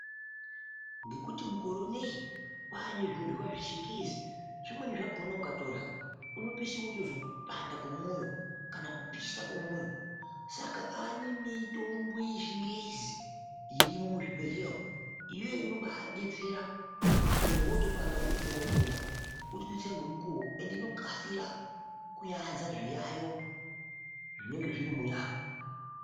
Ngekuti mukore inei kwane zvinoryiwa zvechingezi zvimweni zvakona ukatorya unopeshi wotozwe kupanda kwemwoyo kana kupisha kwemwoyo saka tikaa nemitombo yechingezi irimo muzvibhehleya umo ive inobabetsera kuti mwiri wotopanda wototora wotomwa wotodetsera ngemukuwo ende inokasira kuanza zviayo zvinenge zviri munyaya.